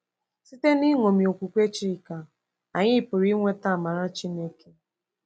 Site n’ịṅomi okwukwe Chika, anyị pụrụ inweta amara Chineke